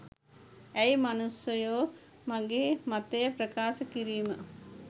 ඇයි මනුස්සයෝ මගේ මතය ප්‍රකාශ කිරීම